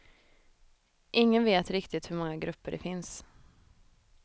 Ingen vet riktigt hur många grupper det finns.